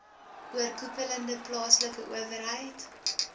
oorkoepelende plaaslike owerheid